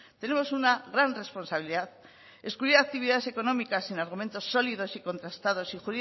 tenemos una gran responsabilidad excluir actividades económicas sin argumentos sólidos y contrastados